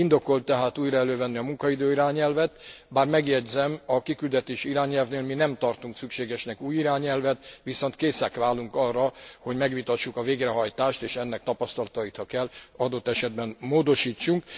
Indokolt tehát újra elővenni a munkaidő irányelvet, bár megjegyzem, a kiküldetési irányelvnél mi nem tartunk szükségesnek új irányelvet, viszont készen állunk arra, hogy megvitassuk a végrehajtást és ennek tapasztalatait, ha kell, adott esetben módosítsunk.